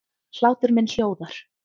Hlátur minn hljóðar.